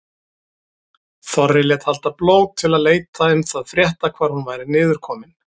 Þorri lét halda blót til að leita um það frétta hvar hún væri niður komin.